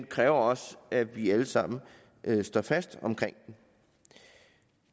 kræver også at vi alle sammen står fast omkring den